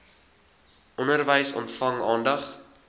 onderwys ontvang aandag